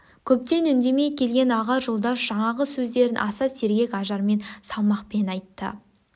көптен үндемей келген аға жолдас жаңағы сөздерін аса сергек ажармен салмақпен айтты